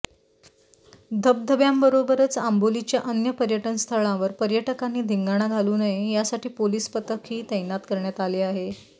धबधब्यांबरोबरच आंबोलीच्या अन्य पर्यटनस्थळांवर पर्यटकांनी धिंगाणा घालू नये यासाठी पोलिस पथकही तैनात करण्यात आले आहे